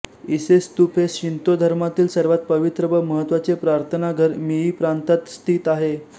इसे स्तूप हे शिंतो धर्मामधील सर्वात पवित्र व महत्त्वाचे प्रार्थनाघर मिई प्रांतात स्थित आहे